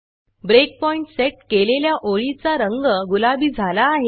breakpoint set केलेल्या ओळीचा रंग गुलाबी झाला आहे